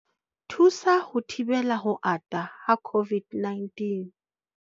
Thusa ho thibela ho ata ha COVID-19